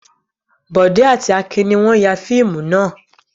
Bọ̀dé àti Akin ní wọ́n ya fíìmù náà.